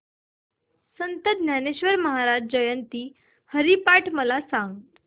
संत ज्ञानेश्वर महाराज जयंती हरिपाठ मला सांग